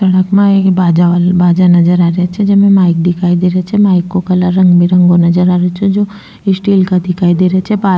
सड़क मा एक बाजा नजर आ रेहो छे जेमे माइक दिखाई दे रो छे माइक को कलर रंगो बिलंगो नज़र आ रेहो छे जो स्टील का दिखाई दे रहे छे पा --